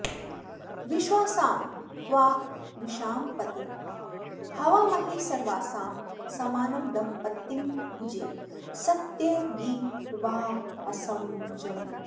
विश्वासां त्वा विशां पतिं हवामहे सर्वासां समानं दम्पतिं भुजे सत्यगिर्वाहसं भुजे